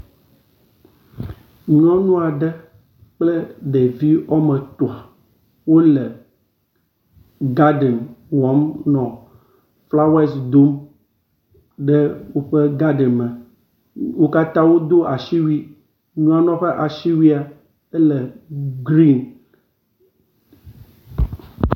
Nyɔnu aɖe kple ɖevi wɔme etɔ̃ wo le gaden wɔm nɔ flawes dom ɖe woƒe gaden me. Wo katã wodo asiwui. Nyɔnua ƒe asiwui ele grin